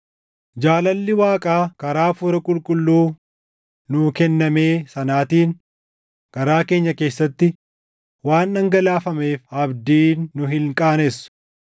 Jaalalli Waaqaa karaa Hafuura Qulqulluu nuu kennamee sanaatiin garaa keenya keessatti waan dhangalaafameef abdiin nu hin qaanessu.